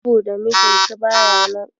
Saboda mijinsu baya nan.